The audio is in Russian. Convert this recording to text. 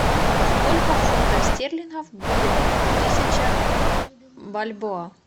сколько фунтов стерлингов будет тысяча бальбоа